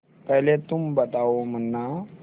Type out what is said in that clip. पहले तुम बताओ मुन्ना